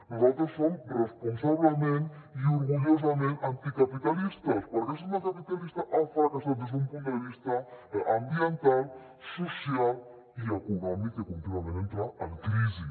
nosaltres som responsablement i orgullosament anticapitalistes perquè el sistema capitalista ha fracassat des d’un punt de vista ambiental social i econòmic que contínuament entra en crisi